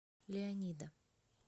леонида